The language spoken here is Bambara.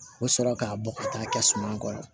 O sɔrɔ k'a bɔ ka taa kɛ suman kɔrɔ